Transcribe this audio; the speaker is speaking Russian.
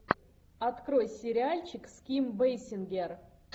открой сериальчик с ким бейсингер